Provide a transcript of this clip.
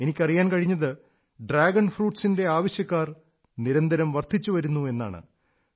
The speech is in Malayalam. എനിക്കറിയാൻ കഴിഞ്ഞത് ഡ്രാഗൺ ഫ്രൂട്സിന്റെ ആവശ്യക്കാർ നിരന്തരം വർധച്ചുവരുന്നു എന്നാണ്